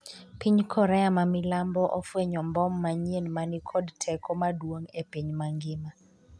piny Korea ma milambo ofwenyo mbom manyien ma ni kod teko maduong' e piny mangima